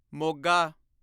Moga